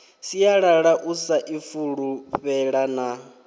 sialala u sa ifulufhela na